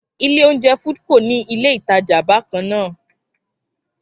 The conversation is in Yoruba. Ilé oúnjẹ Foodco ní ilé ìtajà bákan náà